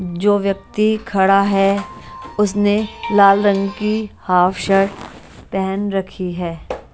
जो व्यक्ति खड़ा है उसने लाल रंग की हाफ शर्ट पहन रखी है।